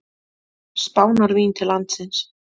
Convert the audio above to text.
Spánarvín til landsins.